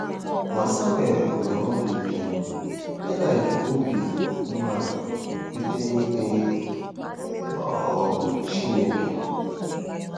Ma Samuel nwere obi ike—Ilaị jikwa obi umeala kweta n’ikpe um Chineke.